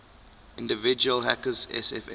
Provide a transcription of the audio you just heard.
individual hackers sfn